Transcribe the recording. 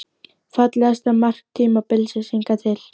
Fallegasta mark tímabilsins hingað til?